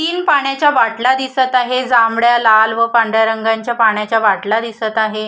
तीन पाण्याच्या बाटल्या दिसत आहे जांभळ्यालाल व पांढऱ्या रंगाच्या पाण्याच्या बाटल्या दिसत आहे.